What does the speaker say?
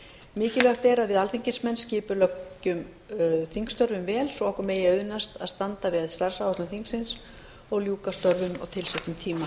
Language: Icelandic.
mikilvægt er að við alþingismenn skipuleggjum þingstörfin vel svo okkur megi auðnast að standa við starfsáætlun þingsins og ljúka störfum á tilsettum tíma